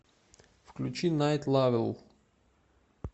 включи найт лавел